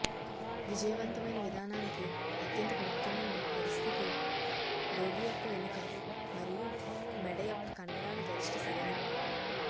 విజయవంతమైన విధానానికి అత్యంత ముఖ్యమైన పరిస్థితి రోగి యొక్క వెనుక మరియు మెడ యొక్క కండరాల గరిష్ట సడలింపు